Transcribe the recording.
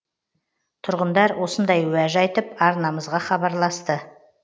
тұрғындар осындай уәж айтып арнамызға хабарласты